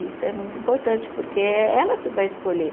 Isso é muito importante, porque é ela que vai escolher.